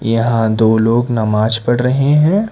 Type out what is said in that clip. यहां दो लोग नमाज पढ़ रहे हैं।